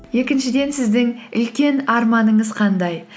екіншіден сіздің үлкен арманыңыз қандай